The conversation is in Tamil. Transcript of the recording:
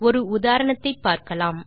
ஒரு உதாரணத்தை பார்க்கலாம்